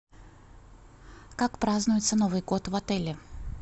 как празднуется новый год в отеле